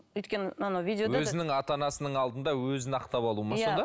өйткені анау өзінің ата анасының алдында өзін ақтап алу ма сонда